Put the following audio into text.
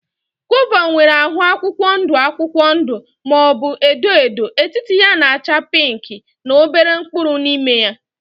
Gova nwere ahụ akwụkwọ ndụ akwụkwọ ndụ maọbu edo edo, etiti ya na -acha pinki na obere mkpụrụ n' ime ya.